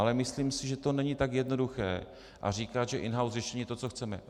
Ale myslím si, že to není tak jednoduché říkat, že in-house řešení je to, co chceme.